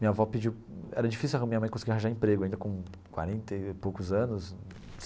Minha avó pediu... Era difícil minha mãe conseguir arranjar emprego ainda com quarenta e poucos anos.